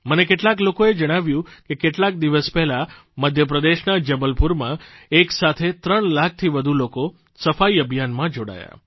મને કેટલાક લોકોએ જણાવ્યું કે કેટલાક દિવસ પહેલાં મધ્યપ્રદેશના જબલપુરમાં એક સાથે ત્રણ લાખથી વધુ લોકો સફાઇ અભિયાનમાં જોડાયા